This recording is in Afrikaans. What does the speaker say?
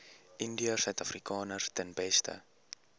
indiërsuidafrikaners ten beste